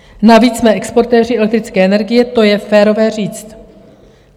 Navíc jsme exportéři elektrické energie, to je férové říct.